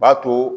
B'a to